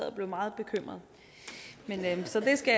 og blev meget bekymret så det skal